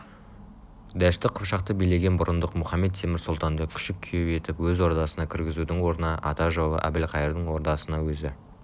дәшті қыпшақты билеген бұрындық мұхамед-темір сұлтанды күшік күйеу етіп өз ордасына кіргізудің орнына ата жауы әбілқайырдың ордасына өзі